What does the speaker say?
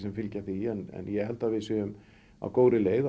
fylgja því en ég held að við séum á góðri leið